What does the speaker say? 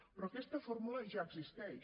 però aquesta fórmula ja existeix